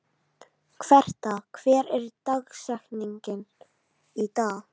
Herta, hver er dagsetningin í dag?